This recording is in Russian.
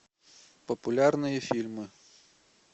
популярные фильмы